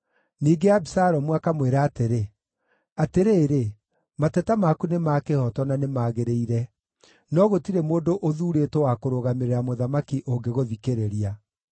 Ningĩ Abisalomu akamwĩra atĩrĩ, “Atĩrĩrĩ mateta maku nĩ ma kĩhooto na nĩ magĩrĩire, no gũtirĩ mũndũ ũthuurĩtwo wa kũrũgamĩrĩra mũthamaki ũngĩgũthikĩrĩria.”